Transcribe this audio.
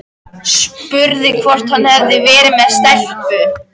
Spurði hvort hann hefði verið með stelpu.